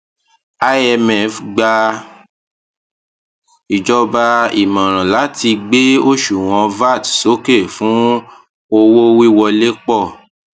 imf gba ìjọba ìmọràn láti gbé òṣuwọn vat sókè fún owówíwolé pọ